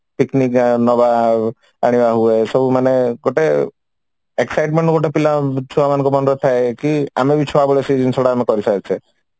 picnic ନବା ଆଉ ଆଣିବା ହୁଏ ସବୁ ମାନେ ଗୋଟେ excitement ଗୋଟେ ଥିଲା ଥାଏ କି ଆଉ ଆମେ ବି ଛୁଆବେଳେ ସେଇ ଜିନିଶଟା ଆମେ କରି ସାରିଛେ